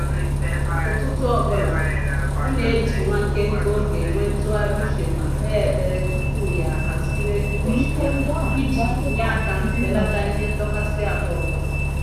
Ụtụtụ ọbụla, ọ na-eji nwa nkenke oge enwe ntụgharị uche ma kpee ekpere tupu ya ahaziwe ụbọchị ya iji nye aka belata ihe ndọkasị ahụ ọbụla